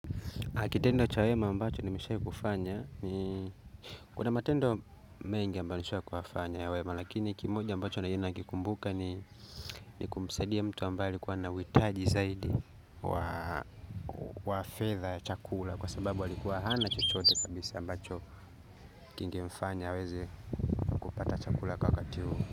Kitendo cha wema ambacho nimeshawahi kufanya ni, kuna matendo mengi ambayo nishafanya ya wema lakini kimoja ambacho ninakikumbuka ni ni kumsaidia mtu ambaye alikuwa na uhitaji zaidi wa fedha ya chakula kwa sababu alikuwa hana chochote kabisa, ambacho kingemfanya aweze kupata chakula wakati ule.